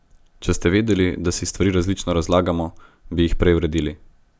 Če bi vedeli, da si stvari različno razlagamo, bi jih prej uredili.